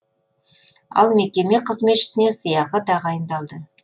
ал мекеме қызметшісіне сыйақы тағайындалды